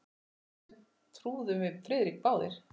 Þessu trúðum við Friðrik báðir.